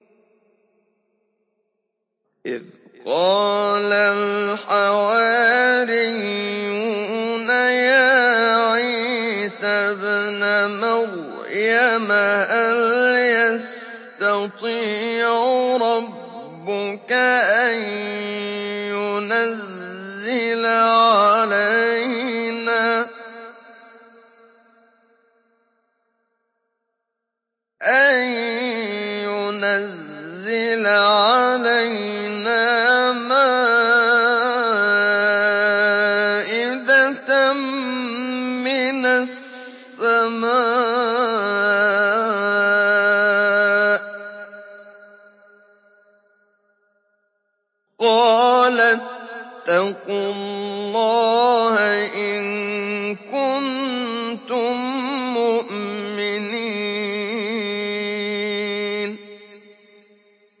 إِذْ قَالَ الْحَوَارِيُّونَ يَا عِيسَى ابْنَ مَرْيَمَ هَلْ يَسْتَطِيعُ رَبُّكَ أَن يُنَزِّلَ عَلَيْنَا مَائِدَةً مِّنَ السَّمَاءِ ۖ قَالَ اتَّقُوا اللَّهَ إِن كُنتُم مُّؤْمِنِينَ